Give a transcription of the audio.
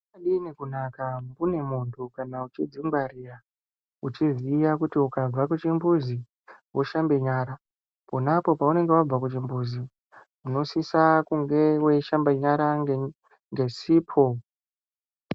Zvakadini kunaka umweni munthu kana uchidzingwarira, uchiziva kuti ukabva kuchimbuzi woshambe nyara. Pona apo peunenge wabva kuchimbuzi, unosisa kunga weishamba nyara ngesipo.